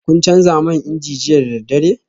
Kun canza man inji jiya da daddare?